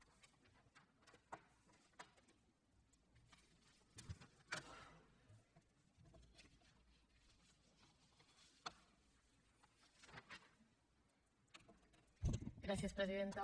gràcies presidenta